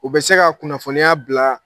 U bɛ se ka kunnafoniya bila